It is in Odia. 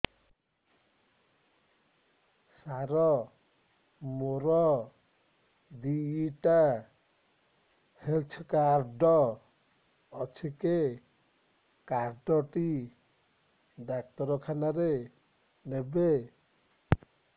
ସାର ମୋର ଦିଇଟା ହେଲ୍ଥ କାର୍ଡ ଅଛି କେ କାର୍ଡ ଟି ଡାକ୍ତରଖାନା ରେ ନେବେ